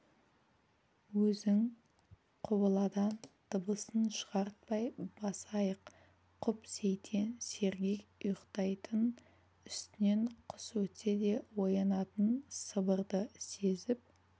өзің құбыладан дыбысын шығартпай басайық құп сейтен сергек ұйықтайтын үстінен құс өтсе де оянатын сыбырды сезіп